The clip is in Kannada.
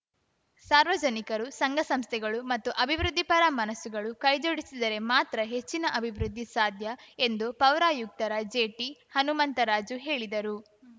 ಸಾರ್ವಜನಿಕರು ಸಂಘ ಸಂಸ್ಥೆಗಳು ಮತ್ತು ಅಭಿವೃದ್ಧಿ ಪರ ಮನಸುಗಳು ಕೈಜೋಡಿಸಿದರೆ ಮಾತ್ರ ಹೆಚ್ಚಿನ ಅಭಿವೃದ್ಧಿ ಸಾಧ್ಯ ಎಂದು ಪೌರಾಯುಕ್ತರ ಜೆಟಿಹನುಮಂತರಾಜು ಹೇಳಿದರು